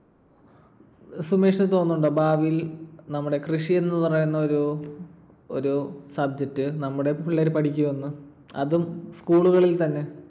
സുമേഷിന് തോന്നുന്നുണ്ടോ ഭാവിയിൽ നമ്മുടെ കൃഷിയെന്നു പറയുന്ന ഒരു ഒരു subject നമ്മുടെ പിള്ളേര് പഠിക്കുമെന്നും അതും school കളിൽ തന്നെ?